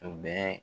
U bɛ